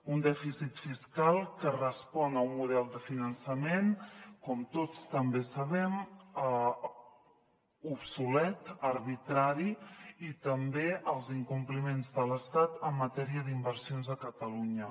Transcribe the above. un dèficit fiscal que respon a un model de finançament com tots també sabem obsolet arbitrari i també als incompliments de l’estat en matèria d’inversions a catalunya